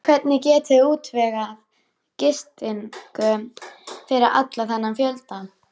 Hvernig getiði útvegað gistingu fyrir allan þennan fjölda?